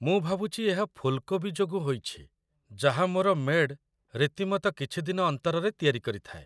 ମୁଁ ଭାବୁଛି ଏହା ଫୁଲ୍‌କୋବି ଯୋଗୁଁ ହୋଇଛି ଯାହା ମୋର ମେ'ଡ଼୍ ରୀତିମତ କିଛି ଦିନ ଅନ୍ତରରେ ତିଆରି କରିଥାଏ।